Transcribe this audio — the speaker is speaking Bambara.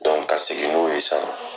ka segin n'o ye sa.